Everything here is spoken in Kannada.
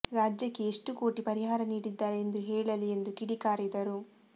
ರಾಜ್ಯಕ್ಕೆ ಎಷ್ಟು ಕೋಟಿ ಪರಿಹಾರ ನೀಡಿದ್ದಾರೆ ಎಂದು ಹೇಳಲಿ ಎಂದು ಕಿಡಿಕಾರಿದರು